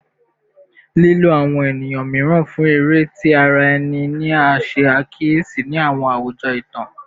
Lilo awọn eniyan miiran fun ere ti ara ẹni ni a ṣe akiyesi ni awọn awujọ itan